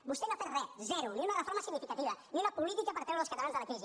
vostè no ha fet re zero ni una reforma significativa ni una política per treure els catalans de la crisi